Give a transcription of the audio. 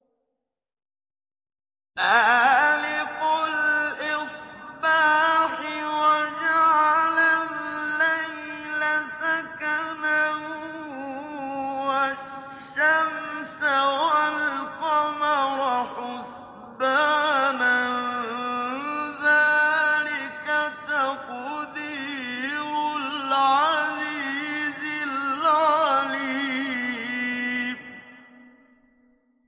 فَالِقُ الْإِصْبَاحِ وَجَعَلَ اللَّيْلَ سَكَنًا وَالشَّمْسَ وَالْقَمَرَ حُسْبَانًا ۚ ذَٰلِكَ تَقْدِيرُ الْعَزِيزِ الْعَلِيمِ